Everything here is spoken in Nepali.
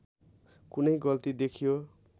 कुनै गल्ती देखियो